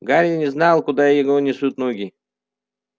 гарри не знал куда его несут ноги